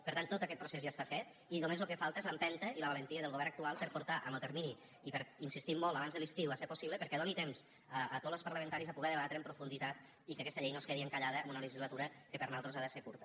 per tant tot aquest procés ja està fet i només lo que falta és l’empenta i la valentia del govern actual per a portar en lo termini i hi insistim molt abans de l’estiu si és possible perquè doni temps a tots los parlamentaris a poder debatre ho amb profunditat i que aquesta llei no es quedi encallada en una legislatura que per nosaltres ha de ser curta